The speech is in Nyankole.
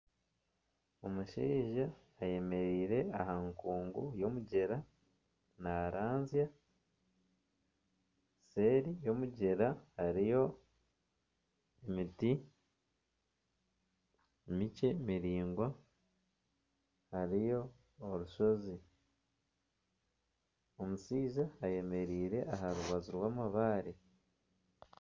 Omushaija ayemereire aha nkungu y'omugyera naranzya, seeri y'omugyera hariyo emiti emikye miraingwa hariyo orushozi omushaija ayemereire aha rubaju rw'amabaare.